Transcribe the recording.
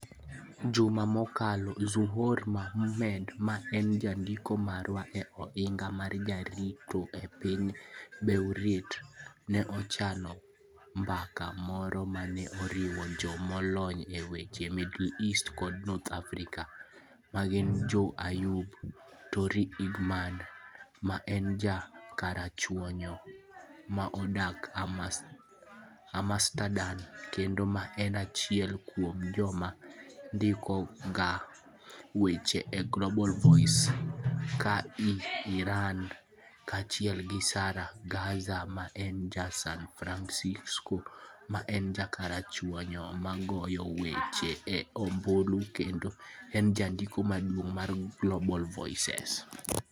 Juma mokalo, Zuhour Mahmoud ma en jandiko marwa e Ohinga mar Jarito e piny Beirut, ne ochano mbaka moro ma ne oriwo jo molony e weche Middle East kod North Africa ma gin Joey Ayoub, Tori Egherman ma en ja karachuonyo ma odak Amsterdam kendo ma en achiel kuom joma ndikoga weche e Global Voices ka en Iran, kaachiel gi Sahar Ghazi ma en ja San Francisco ma en ja karachuonyo ma goyo weche e ombulu kendo en Jandiko Maduong ' mar Global Voices.